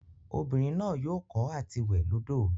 Obinrin naa yoo ko ati we lodo.